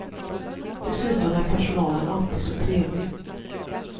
Dessutom är personalen alltid så trevlig.